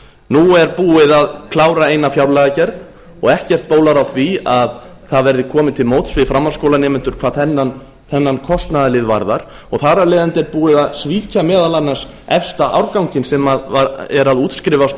nú er búið að klára eina fjárlagagerð og ekkert bólar á því að það verði komið til móts við framhaldsskólanemendur hvað þennan kostnaðarlið varðar og þar af leiðandi er búið að svíkja meðal annars efsta árganginn sem er að útskrifast